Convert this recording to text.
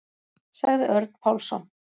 Sagði Örn Pálsson.